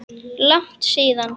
Langt síðan?